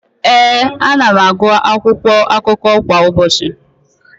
Ee, ana m agụ akwụkwọakụkọ kwa ụbọchị.